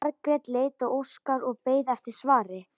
Margrét leit á Óskar og beið eftir svari.